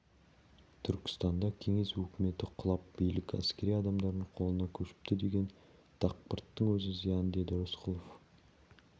түркістанда кеңес өкіметі құлап билік әскери адамдардың қолына көшіпті деген дақпырттың өзі зиян деді рысқұлов